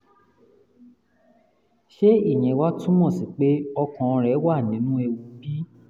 ṣé ìyẹn wá túmọ̀ sí pé ọkàn rẹ̀ wà nínú ewu bí? um